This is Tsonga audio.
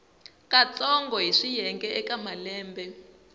katsongo hi swiyenge eka malembe